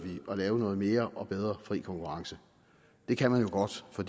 at lave noget mere og bedre fri konkurrence det kan man godt for